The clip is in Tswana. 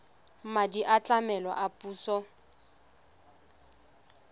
madi a tlamelo a puso